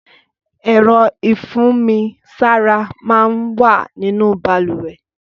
Ẹ̀rọ̀ ifùnmisàrá mà n wà ninú bàlúwẹ̀